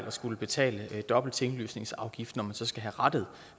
at skulle betale dobbelt tinglysningsafgift når man så skal have rettet